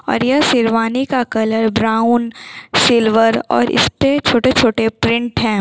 और यह शेरवानी का कलर ब्राउन सिल्वर और इसपे छोटे-छोटे प्रिंट हैं।